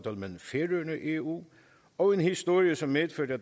eu og en historie som medførte